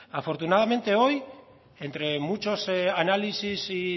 afortunadamente hoy entre muchos análisis y